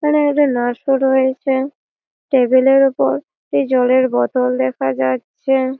এখানে একটি নাস পরে রয়েছে টেবিল এর উপর একটি জলের বোতল দেখা যাচ্ছে|